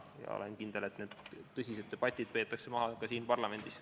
Olen kindel, et tõsised debatid peetakse maha ka siin parlamendis.